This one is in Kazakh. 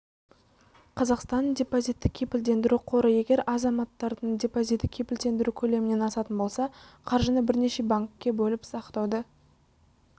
қазақстанның депозитті кепілдендіру қоры егер азаматтардың депозиті кепілдендіру көлемінен асатын болса қаржыны бірнеше банкке бөліп сақтауды